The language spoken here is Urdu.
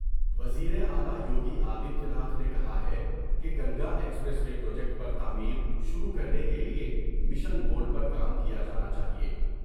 وزیراعلی یوگی آدتیہ ناتھ نے کہا ہے کہ گنگا ایکسپریس وے پروجیکٹ پر تعمیر شروع کرنے کے لئے مشن موڈ پر کام کیا جانا چاہئے ۔